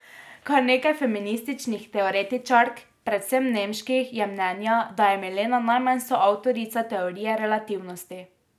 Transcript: Kar nekaj feminističnih teoretičark, predvsem nemških, je mnenja, da je Milena najmanj soavtorica teorije relativnosti.